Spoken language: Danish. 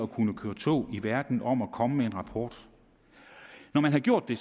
kunne køre tog i verden om at komme med en rapport når man gjorde det